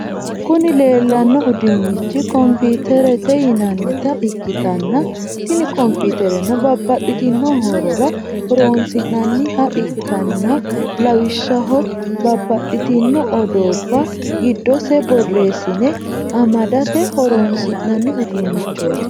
Kuni lelano udunichi computeret yinanita ikitana tini computerno babatitino horrora horronisinanniha ikanano lawishaho babatitino oddoba gidose borressine amdate horonisinanni udunichoti